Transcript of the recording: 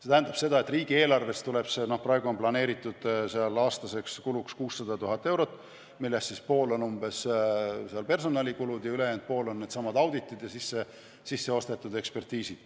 See tähendab seda, et riigieelarves on praegu planeeritud aastaseks kuluks 600 000 eurot, millest umbes pool on personalikulud ning ülejäänud pool on needsamad auditid ja sisse ostetud ekspertiisid.